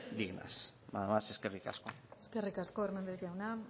dignas nada más eskerrik asko eskerrik asko hernández jauna